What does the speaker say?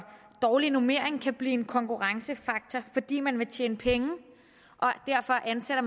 dårlige normeringer kan blive konkurrencefaktorer fordi man vil tjene penge og derfor ansætter